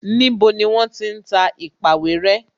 Níbo ni wọ́n ti ń ta èpàwéré?